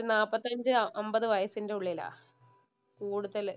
ഒരു നാപ്പത്തഞ്ചു അമ്പത് വയസിന്‍റെ ഉള്ളിലാ കൂടുതല്.